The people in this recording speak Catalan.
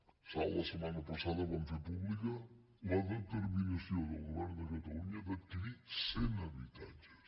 a salt la setmana passada vam fer pública la determinació del govern de catalunya d’adquirir cent habitatges